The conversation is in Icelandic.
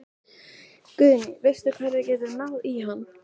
Guðný: Veistu hvar við getum náð í hann?